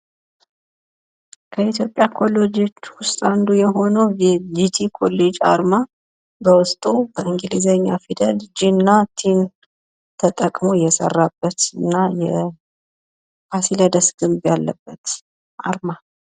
ከኢትዮጵያ ኮሌጆች ውስጥ አንዱ የሆነው የጂጂ ኮሌጅ አርማ በውስጡ የእንግሊዘኛ ፊደል ጅ እና ቲን ተጠቅሞ የሰራበት እና ፋሲለደስ ግን ያለበት አርማ